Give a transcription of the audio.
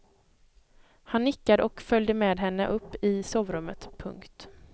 Han nickade och följde med henne upp i sovrummet. punkt